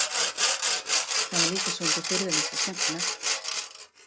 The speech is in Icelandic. Það var líka svolítið furðulegt og skemmtilegt.